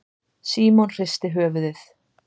Símon hristi höfuðið.